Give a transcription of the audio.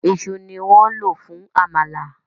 Ìṣù ni wọ́n lò fún àmàlà